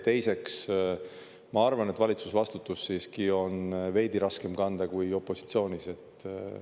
Teiseks, ma arvan, et valitsusvastutus siiski on veidi raskem kanda kui opositsioonis.